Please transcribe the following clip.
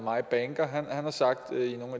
har sagt